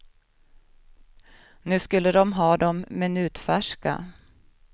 Nu skulle de ha dem minutfärska.